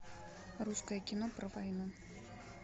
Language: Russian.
русское кино про войну